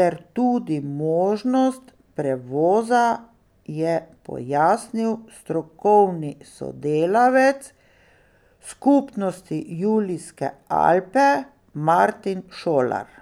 ter tudi možnost prevoza, je pojasnil strokovni sodelavec Skupnosti Julijske Alpe Martin Šolar.